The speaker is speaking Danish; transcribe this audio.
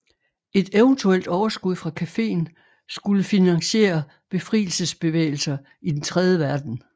Et eventuelt overskud fra cafeen skulle finansiere befrielsesbevægelser i den tredje verden